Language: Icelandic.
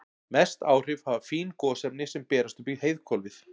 Mest áhrif hafa fín gosefni sem berast upp í heiðhvolfið.